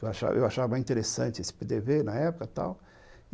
Eu achava interessante esse pê dê vê na época, tal.